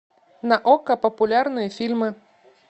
на окко популярные фильмы